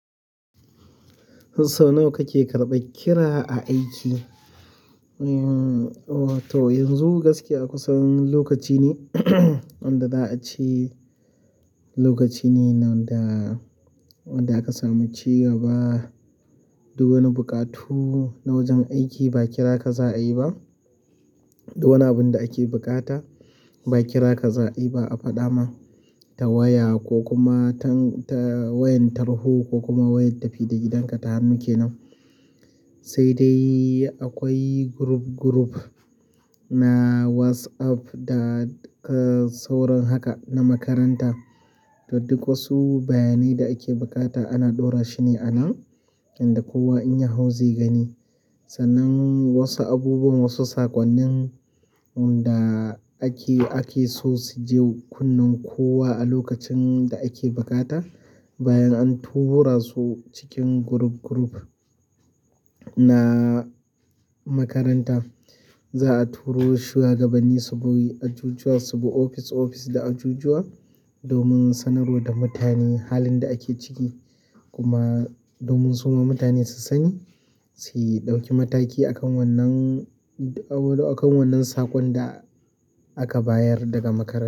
Ko sau nawa kake karɓan kira a aiki? To yanzu gaskiya a kusan lokaci ne wanda za a ce lokaci ne wanda, wanda aka sami cigaba. Duk wani buƙatu na wajen aiki ba kira ka za a yi ba. Duk wani abin da ake buƙata ba kira ka za a yi ba a faɗa ma ta waya ko kuma ta-- ta wayan tarho ko kuma wayan tafi da gidanka ta hannu kenan. Sai dai akwai group group na WhatsApp da, da sauran haka na makaranta. To duk wasu bayanai da ake buƙata ana ɗora shi ne anan inda kowa in ya hau zai gani. Sannan wasu abubuwan wasu saƙonnin wanda ake, ake so su je kunnen kowa a lokacin da ake buƙata bayan an tura su cikin group group na makaranta. Za a turo shuwagaba ni subi ajujuwa, su bi ofis ofis da ajujuwa domin sanarwa da mutane halin da ake ciki kuma domin su ma mutane su sani, su ɗauki mataki a kan wannan, a kan wannan saƙon da aka bayar daga makaranta.